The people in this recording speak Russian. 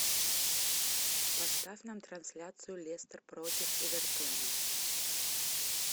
поставь нам трансляцию лестер против эвертона